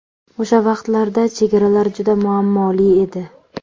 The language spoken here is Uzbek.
O‘sha vaqtlarda chegaralar juda muammoli edi.